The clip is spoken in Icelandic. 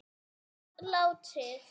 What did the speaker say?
hátt var látið